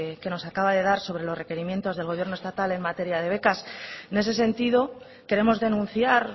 que nos acaba de dar sobre los requerimientos del gobierno estatal en materia de becas en ese sentido queremos denunciar